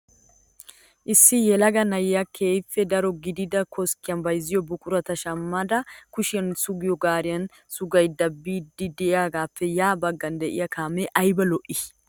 Issi yelaga na'ay keehippe daro gidida koskkiyan bayizziyo buqurata shammidi kushiyan sugiyo gaariyan sugidi biiddi diyagaappe ya baggan diya kaame ayiba lo'i!